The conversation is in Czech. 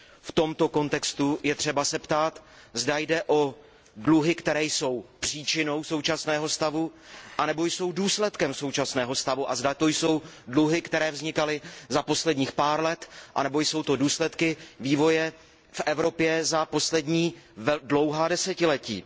V tomto kontextu je třeba se ptát, zda jde o dluhy, které jsou příčinou současného stavu nebo jsou důsledkem současného stavu, a zda to jsou dluhy, které vznikaly za posledních pár let nebo jsou důsledkem vývoje v Evropě za poslední dlouhá desetiletí.